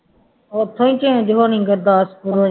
ਉੱਥੋਂ ਹੀ change ਹੋਣੀ ਗੁਰਦਾਸਪੁਰੋਂ ਹੀ